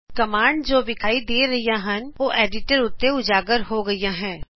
commands ਜੋ ਵਿਖਾਈ ਦੇ ਰਹੀਆਂ ਹਨ ਉਹ ਕੈਂਵਸ ਉਤੇ ਉਜਾਗਰ ਹੋ ਰਹੀ ਹੈ